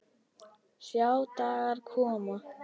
Sjá dagar koma